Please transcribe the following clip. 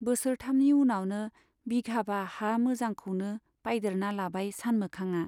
बोसोरथामनि उनावनो बिघाबा हा मोजांखौनो बायदेरना लाबाय सानमोखांआ।